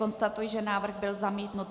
Konstatuji, že návrh byl zamítnut.